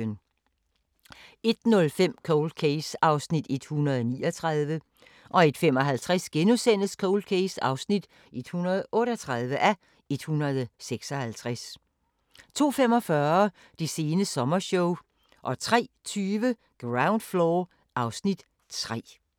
01:05: Cold Case (139:156) 01:55: Cold Case (138:156)* 02:45: Det sene sommershow 03:20: Ground Floor (Afs. 3)